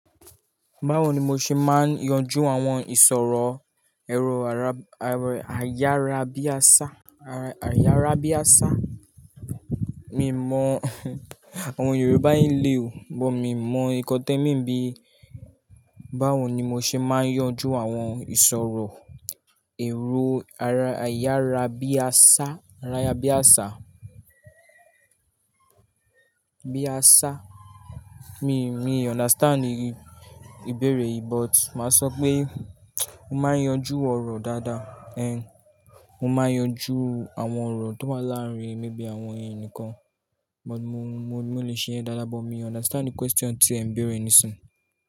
Báwo ni mo ṣe máa ń yanjú àwọn ìsọ̀rọ̀ ẹro ayarabiasa? Mi mọ àwọn Yorùbá ń lé o, but mi mọ ìkọ́tẹ́ mi ń bí. Báwo ni mo ṣe máa ń yanjú àwọn ìsọ̀rọ̀ ẹrú ayarabiasa? Mi, mi understand ìbéèrè yìí but màá sọ pé mo máa ń yanjú ọ̀rọ̀ dáadáa. Én, mo máa ń yanjú àwọn ọ̀rọ̀ tó wáa láàárín mi bí i àwọn ẹni nìkan. But mo, mo le ṣe é dáadáa but mi o understand question tí ẹ ń bèèrè ni sin.